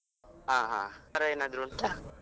ಹಾ ಹಾ, camera ಏನಾದ್ರು ಉಂಟಾ?